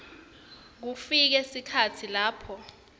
kufike sikhatsi lapho